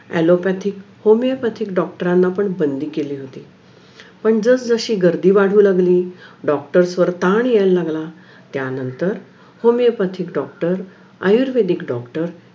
allopathy, homeopathic doctor ना पण बंधी केली होते पण जशी गर्दी वाढवू लागली doctors वर ताण यायला लागला त्यांनतर Homeopathic doctor आयर्वेदिक doctor